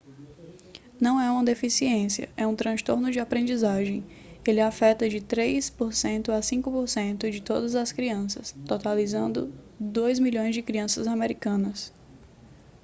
não é uma deficiência é um transtorno de aprendizagem ele afeta de 3% a 5% de todas as crianças totalizando talvez 2 milhões de crianças americanas